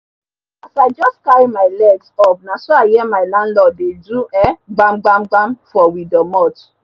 as i jus carry my legs up naso i hear my lanlord dey do um gbam gbam gbam for we doormot